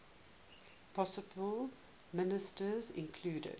possible ministers included